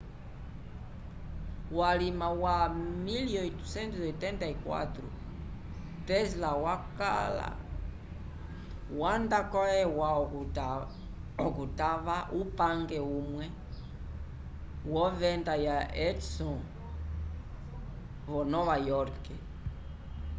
vulima wa 1884 tesla wanda ko eua okutava upange umwe v'ovenda ya edison vo nova iorque